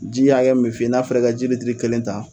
Ji hakɛ mun bɛ f'i ye, n'a fɔra i ka ji litiri kelen ta